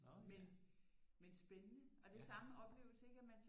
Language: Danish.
Men men spændende og det er samme oplevelse at man